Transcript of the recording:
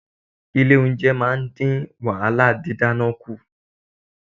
Ilé-oúnjẹ máa ń dín wàhálà didana kù.